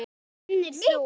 Kennir þú?